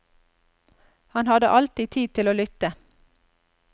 Han hadde alltid tid til å lytte.